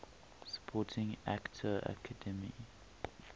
supporting actor academy